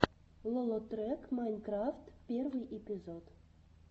лолотрек майнкрафт первый эпизод